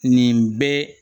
Nin bɛɛ